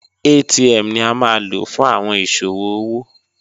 ATM ni a ma lo fun awọn iṣowo owo